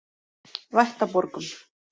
Vættaborgum